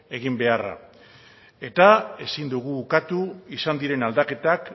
egin beharra eta ezin dugu ukatu izan diren aldaketak